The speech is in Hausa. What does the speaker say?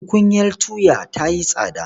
Tukunyar tuya ta yi tsada.